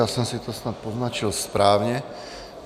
Já jsem si to snad poznačil správně.